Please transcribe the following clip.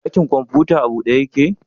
Dakin kwamfuta a bude ya ke?